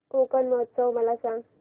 कोकण महोत्सव मला सांग